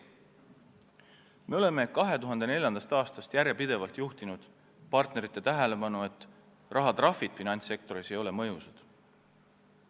Me oleme 2004. aastast järjepidevalt juhtinud partnerite tähelepanu sellele, et rahatrahvid finantssektoris ei ole mõjusad.